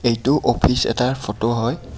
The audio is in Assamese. এইটো অফিচ এটাৰ ফোট হয়.